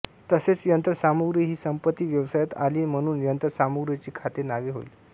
तसेच यंत्रसामुग्री हि संपत्ती व्यवसायात आली म्हणून यांत्रासामुग्रीचे खाते नावे होईल